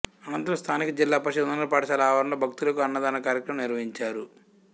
అనంతరం స్థానిక జిల్లా పరిషత్తు ఉన్నత పాఠశాల ఆవరణలో భక్తులకు అన్నదాన కార్యక్రమం నిర్వహించారు